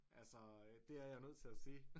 Altså det er jeg nødt til at sige